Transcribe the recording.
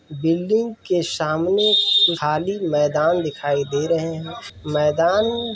Building के सामने खाली मैदान दिखाई दे रहे है। मैदान --